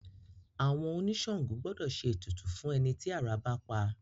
Àwọn oníṣàngó gbọ́dọ̀ ṣe ètùtù fún ẹni tí àrá bá pa